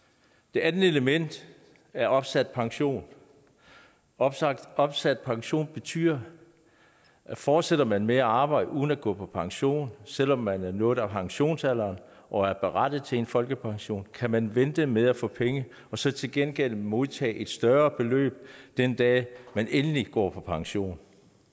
det andet element er opsat pension opsat opsat pension betyder at fortsætter man med at arbejde uden at gå på pension selv om man har nået pensionsalderen og er berettiget til en folkepension kan man vente med at få penge så til gengæld modtage et større beløb den dag man endelig går på pension